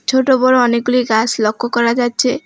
ছোট বড় অনেকগুলি গাস লক্য করা যাচ্ছে।